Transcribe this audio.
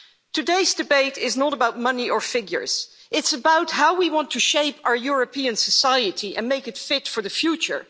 Today's debate is not about money or figures it's about how we want to shape our European society and make it fit for the future.